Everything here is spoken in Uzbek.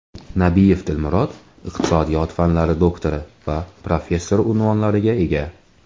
Nabiyev Dilmurod iqtisodiyot fanlari doktori va professor unvonlariga ega.